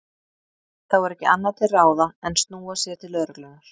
Þá er ekki annað til ráða en snúa sér til lögreglunnar.